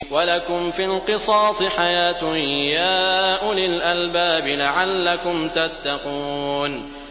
وَلَكُمْ فِي الْقِصَاصِ حَيَاةٌ يَا أُولِي الْأَلْبَابِ لَعَلَّكُمْ تَتَّقُونَ